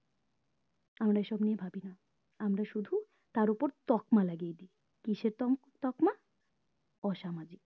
আমরা এসব নিয়ে ভাবিনা আমরা শুধু তার উপর তকমা লাগিয়ে দি কিসের তম তকমা অসামাজিক